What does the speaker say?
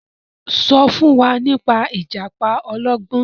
so fún wá nípa ìjàpá ọlọgbọn.